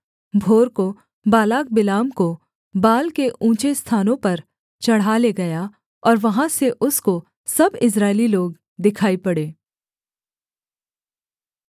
भोर को Balak Balaam को बाल के ऊँचे स्थानों पर चढ़ा ले गया और वहाँ से उसको सब इस्राएली लोग दिखाई पड़े